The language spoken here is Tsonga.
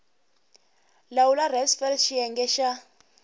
lawula res fal xiyenge xa